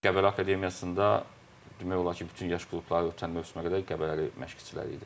Qəbələ Akademiyasında demək olar ki, bütün yaş qrupları ötən mövsümə qədər Qəbələli məşqçiləri idi.